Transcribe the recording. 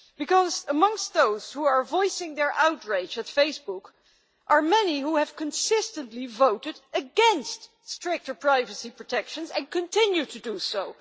Because amongst those who are voicing their outrage at Facebook are many who have consistently voted against stricter privacy protection, and continue to do so.